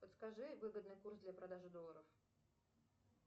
подскажи выгодный курс для продажи долларов